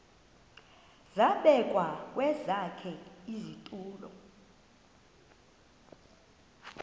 zabekwa kwesakhe isitulo